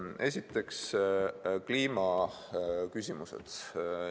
Esiteks, kliimaküsimused.